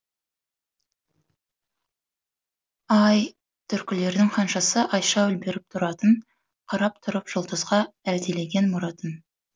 ай түркілердің ханшасы айша үлбіреп тұратын қарап тұрып жұлдызға әлдилеген мұратын